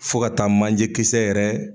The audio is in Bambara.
Fo ka taa manje kisɛ yɛrɛ